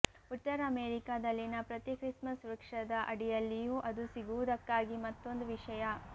ಉತ್ತರ ಅಮೇರಿಕಾದಲ್ಲಿನ ಪ್ರತಿ ಕ್ರಿಸ್ಮಸ್ ವೃಕ್ಷದ ಅಡಿಯಲ್ಲಿಯೂ ಅದು ಸಿಗುವುದಕ್ಕಾಗಿ ಮತ್ತೊಂದು ವಿಷಯ